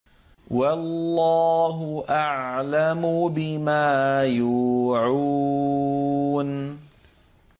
وَاللَّهُ أَعْلَمُ بِمَا يُوعُونَ